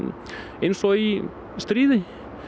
eins og í stríði